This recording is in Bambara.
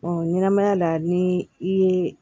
ɲɛnɛmaya la ni i ye